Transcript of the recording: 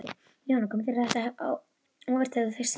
Jóhanna: Kom þér þetta á óvart þegar þú fékkst símtalið?